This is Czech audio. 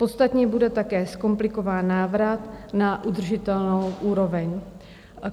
Podstatně bude také zkomplikován návrat na udržitelnou úroveň.